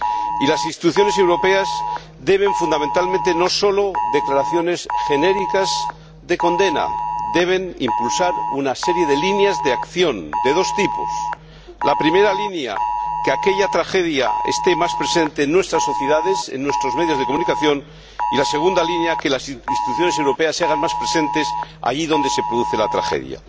Y las instituciones europeas no solo deben emitir declaraciones genéricas de condena, sino que deben impulsar una serie de líneas de acción de dos tipos la primera línea, que aquella tragedia esté más presente en nuestras sociedades, en nuestros medios de comunicación, y, la segunda línea, que las instituciones europeas se hagan más presentes allí donde se produce la tragedia.